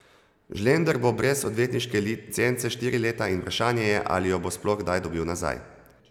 Žlender bo brez odvetniške licence štiri leta in vprašanje je, ali jo bo sploh kdaj dobil nazaj.